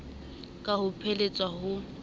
ka ha ho phehelletswe ho